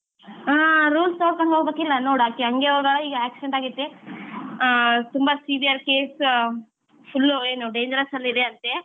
ಹಾ rules ನೋಡ್ಕೊಂಡು ಹೋಗ್ಬೇಕಿಲ್ಲ ನೋಡ್ ಆಕಿ ಹಂಗೆ ಹೋಗ್ಯಾಳ ಈಗ accident ಆಗೈತಿ ಅಹ್ ತುಂಬಾ serious case ಅಹ್ full ಏನ್ dangerous ಅಲ್ಲಿ ಇದೆಯಂತೆ